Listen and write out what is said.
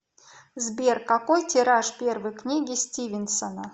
сбер какой тираж первой книги стивенсона